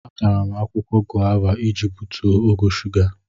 Atara m akwụkwọ gova iji butuo ogo shuga.